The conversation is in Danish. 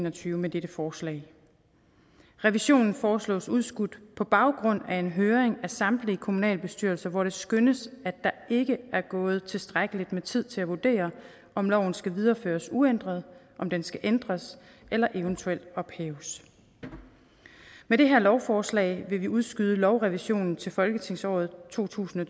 og tyve med dette forslag revisionen foreslås udskudt på baggrund af en høring af samtlige kommunalbestyrelser hvor det skønnes at der ikke er gået tilstrækkeligt med tid til at vurdere om loven skal videreføres uændret om den skal ændres eller eventuelt ophæves med det her lovforslag vil vi udskyde lovrevisionen til folketingsåret to tusind og